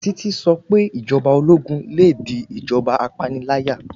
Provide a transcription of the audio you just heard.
Títí sọ pé Ìjọba ológun le di ìjọba apániláyà.